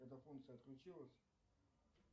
эта функция отключилась